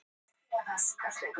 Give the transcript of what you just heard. Lýst eftir bíl